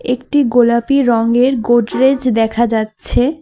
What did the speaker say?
একটি গোলাপী রঙের গোডরেজ দেখা যাচ্ছে।